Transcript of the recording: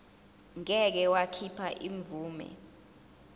ngeke wakhipha imvume